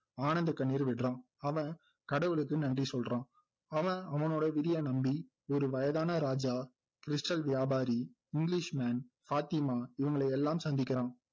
ஆனந்தகண்ணீர் விடுறான் அவன் கடவுளுக்கு நன்றி சொல்றான் அவன் அவனோட விதியை நம்பி ஒரு வயதான ராஜா stal வியாபாரி english man பாத்திமா இவங்களை எல்லாம் சந்திக்கிறான்